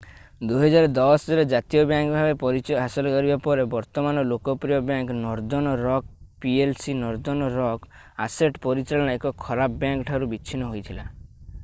2010ରେ ଜାତୀୟ ବ୍ୟାଙ୍କ ଭାବେ ପରିଚୟ ହାସଲ କରିବା ପରେ ବର୍ତ୍ତମାନର ଲୋକପ୍ରିୟ bank Northern Rock PLC Northern Rock asset ପରିଚାଳନା ‘ଏକ ଖରାପ ବ୍ୟାଙ୍କ୍’ ଠାରୁ ବିଚ୍ଛିନ୍ନ ହୋଇଥିଲା।